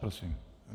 Prosím.